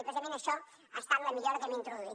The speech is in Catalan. i precisament això ha estat la millora que hem introduït